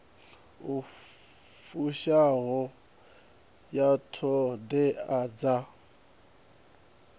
i fushaho ya ṱhoḓea dza